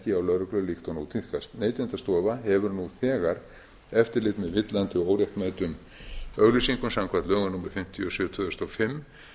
ekki hjá lögreglu líkt og nú tíðkast neytendastofa hefur nú þegar eftirlit með villandi og óréttmætum auglýsingum samkvæmt lögum númer fimmtíu og sjö tvö þúsund og fimm